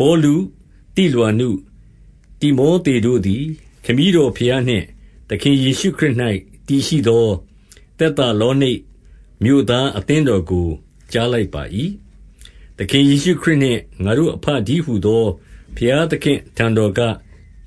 ပေါလု၊ သိလွာနု၊ တိမောသေတို့သည် ခမည်းတော်ဘုရားနှင့် သခင်ယေရှုခရစ်၌ တည်ရှိသော သက်သာလောနိတ်မြို့သား အသင်းတော်ကို ကြားလိုက်ပါ၏။ သခင်ယေရှုခရစ်နှင့် ငါတို့အဘတည်းဟူသော ဘုရားသခင့်အထံတော်က